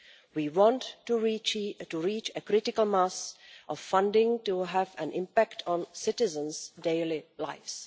We want to reach a critical mass of funding to have an impact on citizens' daily lives.